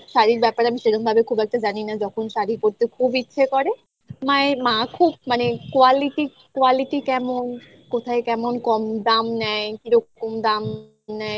শাড়ির ব্যাপারে আমি সেরমভাবে খুব একটা জানি না যখন শাড়ি পরতে খুব ইচ্ছে করে মায়ের মা খুব মানে quality quality কেমন কোথায় কেমন কম দাম নেয় কিরকম দাম নেয়